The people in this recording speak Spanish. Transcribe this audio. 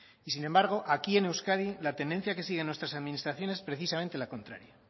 y sin embargo aquí en euskadi la tendencia que siguen nuestras administraciones es precisamente la contraria